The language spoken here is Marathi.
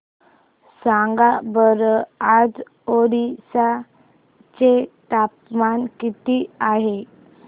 सांगा बरं आज ओरिसा चे तापमान किती आहे